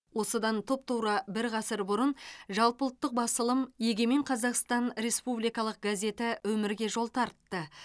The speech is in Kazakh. осыдан тұп тура бір ғасыр бұрын жалпыұлттық басылым егемен қазақстан республикалық газеті өмірге жол тартты